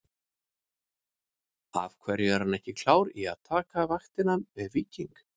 Af hverju er hann ekki klár í að taka vaktina með Víking?